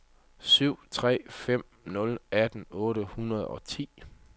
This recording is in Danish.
syv tre fem nul atten otte hundrede og ti